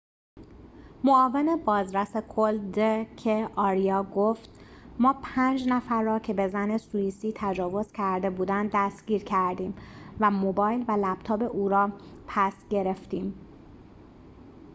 معاون بازرس کل د ک آریا گفت ما پنج نفر را که به زن سوییسی تجاوز کرده بودند دستگیر کردیم و موبایل و لپتاپ او را پس گرفتیم